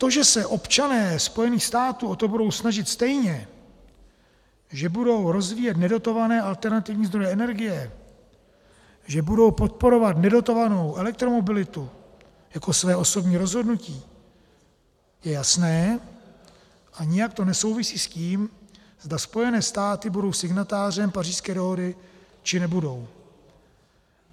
To, že se občané Spojených států o to budou snažit stejně, že budou rozvíjet nedotované alternativní zdroje energie, že budou podporovat nedotovanou elektromobilitu jako své osobní rozhodnutí, je jasné a nijak to nesouvisí s tím, zda Spojené státy budou signatářem Pařížské dohody, či nebudou.